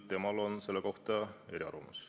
Temal on selle kohta eriarvamus.